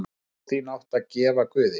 Trú þína áttu að gefa guði.